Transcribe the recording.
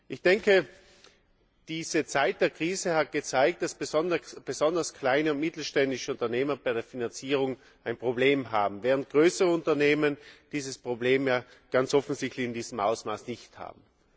Ich denke, diese Zeit der Krise hat gezeigt, dass besonders kleine und mittelständische Unternehmen bei der Finanzierung ein Problem haben, während größere Unternehmen dieses Problem ganz offensichtlich in diesem Ausmaß nicht haben.